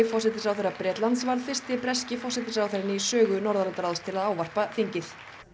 forsætisráðherra Bretlands var fyrsti breski forsætisráðherrann í sögu Norðurlandaráðs til að ávarpa þingið